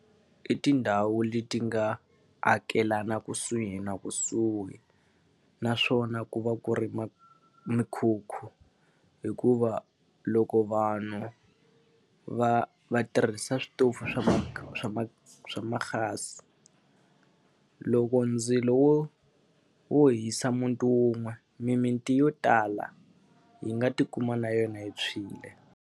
I tindhawu leti nga amukelana kusuhi na kusuhi, naswona ku va ku ri mikhukhu. Hikuva loko vanhu va va a tirhisa switofu swa swa swa ma-gas-i, loko ndzilo wo wo hisa muti wun'we mimiti yo tala yi nga tikuma na yona yi tshwile.